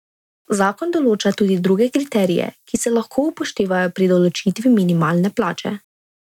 Zakon določa tudi druge kriterije, ki se lahko upoštevajo pri določitvi minimalne plače.